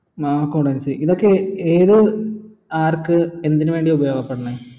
accountancy ഇതൊക്കെ ഏത് ആർക്ക് എന്തിന് വേണ്ടിയാ ഉപോയാകപെടുന്നേ